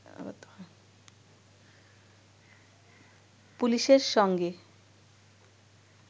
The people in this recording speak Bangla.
পুলিশের সঙ্গে